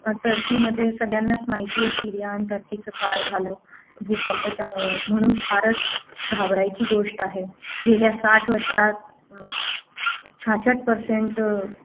Turkey मध्ये सगळ्यांनाच माहिती सीरिया आणि टर्कीचा काय झालं त भूकंपाच्या मुळे म्हणून फारच घाबरायची गोष्ट आहे गेल्या साठ वर्षात छाछट percent अं